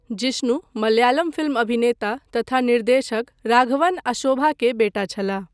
Jishnu Malayalam film अभिनेता तथा निर्देशक राघवन आ शोभा के बेटा छलाह।